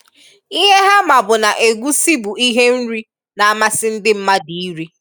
Ihe ha ma bụ na egusi bụ ihe nri n'amasi ndị mmadụ iri.